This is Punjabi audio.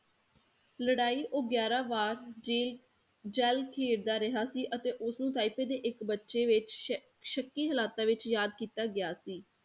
ਲੜਾਈ ਉਹ ਗਿਆਰਾਂ ਵਾਰ ਜੇ ਜਲ ਖੇਡਦਾ ਰਿਹਾ ਸੀ ਅਤੇ ਉਸਨੂੰ ਤਾਇਪੇ ਦੇ ਇੱਕ ਬੱਚੇ ਵਿੱਚ ਸ਼~ ਸ਼ੱਕੀ ਹਾਲਾਤਾਂ ਵਿੱਚ ਯਾਦ ਕੀਤਾ ਗਿਆ ਸੀ।